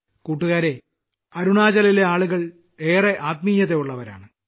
കൂട്ടുകാരേ അരുണാചലിലെ ആളുകൾ ഏറെ ആത്മീയത ഉള്ളവരാണ്